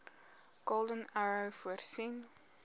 golden arrow voorsien